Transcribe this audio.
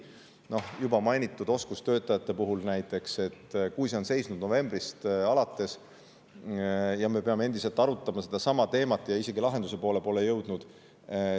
Näiteks juba mainitud oskustöötajate teema on seisnud novembrist alates, me peame endiselt seda arutama ja pole isegi veel lahenduse poole jõudnud.